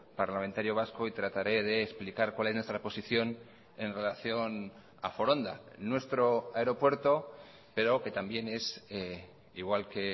parlamentario vasco y trataré de explicar cuál es nuestra posición en relación a foronda nuestro aeropuerto pero que también es igual que